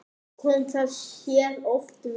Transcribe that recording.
Kom það sér oft vel.